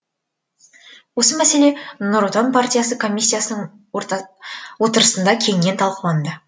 осы мәселе нұр отан партиясы комиссиясының отырысында кеңінен талқыланды